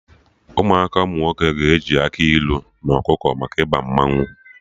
Ụmụaka umunwoke ga-eji akị ilu na ọkụkọ maka Ịba mmanwụ